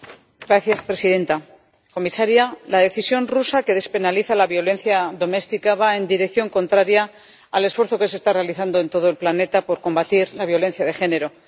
Señora presidenta, comisaria, la decisión rusa que despenaliza la violencia doméstica va en dirección contraria al esfuerzo que se está realizando en todo el planeta por combatir la violencia de género.